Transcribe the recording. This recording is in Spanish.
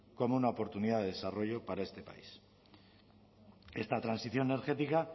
como una oportunidad de desarrollo para este país esta transición energética